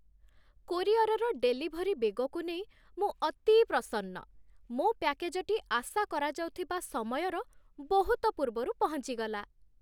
କୋରିଅରର delivery ବେଗକୁ ନେଇ ମୁଁ ଅତି ପ୍ରସନ୍ନ। ମୋ ପ୍ୟାକେଜଟି ଆଶାକରାଯାଉଥିବା ସମୟର ବହୁତ ପୂର୍ବରୁ ପହଞ୍ଚିଗଲା!